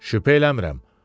Şübhə eləmirəm.